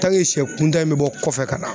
sɛ kuntan in bɛ bɔ kɔfɛ ka na